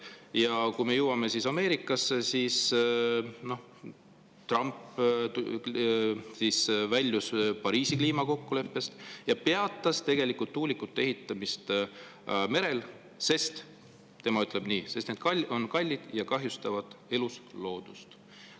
Ja jõuame Ameerikasse: Trump väljus Pariisi kliimakokkuleppest ja peatas tegelikult tuulikute ehitamise merel, sest – tema ütleb nii – need on kallid ja kahjustavad elusloodust.